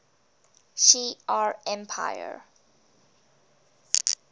shi ar empire